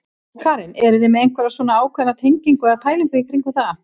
Karen: Eruð þið með einhverja svona ákveðna tengingu eða pælingu í kringum það?